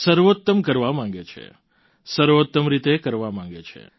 સર્વોત્તમ કરવા માગે છે સર્વોત્તમ રીતે કરવા માગે છે